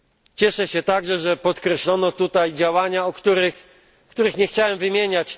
Cieszę się także, że podkreślono tutaj działania, których nie chciałem wymieniać.